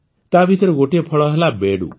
ତାଭିତରେ ଗୋଟିଏ ଫଳ ହେଲା ବେଡ଼ୁ